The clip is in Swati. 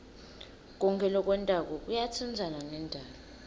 konkhe lokwentako kuyatsintsana nendalo